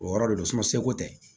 O yɔrɔ de don seko tɛ